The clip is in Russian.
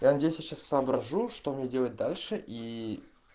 я надеюсь я сейчас соображу что мне делать дальше и